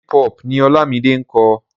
Hip hop ni Ọlámide ń kọ.